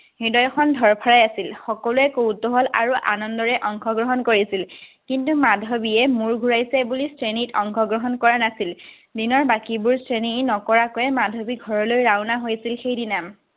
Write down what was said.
হৃদয়খন ধৰফৰাই আছিল। সকলোৱে কৌতুহল আৰু আনন্দৰে অংশ গ্ৰহণ কৰিছিল। কিন্তু, মাধৱীয়ে মুৰ ঘুৰাইছে বুলি শ্ৰেণীত অংশ গ্ৰহণ কৰা নাছিল। দিনৰ বাকীবোৰ শ্ৰেণী নকৰাকৈয়ে মাধৱী ঘৰলৈ ৰাওনা হৈছিল সেইদিনা।